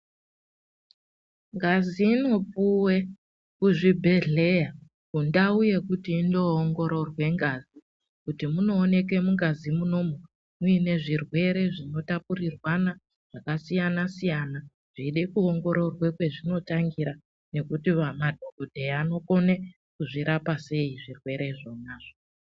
Ngazi inopuwe kuzvibhedhleya, kundau yekuti inoongororwe ngazi kuti munooneke mungazi munomu, muine zvirwere zvinotapurirwana zvakasiyana-siyana, zveide kuongororwa kwezvinotangira, nekuti madhokodheya anokone kuzvirapa sei zvirwere zvona.